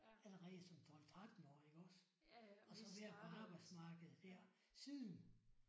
Allerede som 12 13-årig iggås og så været på arbejdsmarkedet der siden